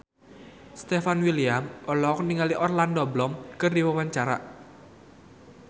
Stefan William olohok ningali Orlando Bloom keur diwawancara